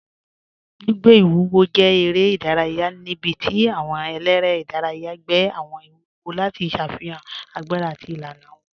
Gbìgbẹ̀ iwúwò jẹ̀ èrè idàrayà níbí tí àwọn èlẹ́rẹ̀ idàrayà gbẹ̀ àwọn iwúwò lati ṣáfihan agbára àti ilànà wọn.